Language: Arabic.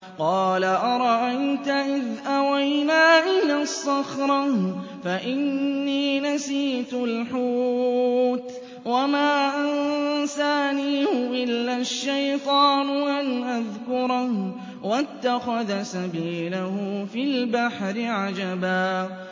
قَالَ أَرَأَيْتَ إِذْ أَوَيْنَا إِلَى الصَّخْرَةِ فَإِنِّي نَسِيتُ الْحُوتَ وَمَا أَنسَانِيهُ إِلَّا الشَّيْطَانُ أَنْ أَذْكُرَهُ ۚ وَاتَّخَذَ سَبِيلَهُ فِي الْبَحْرِ عَجَبًا